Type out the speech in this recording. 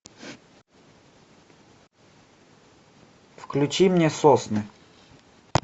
включи мне сосны